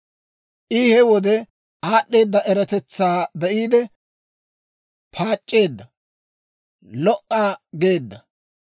I he wode, aad'd'eeda eratetsaa be'iide paac'c'eedda; lo"a geedda.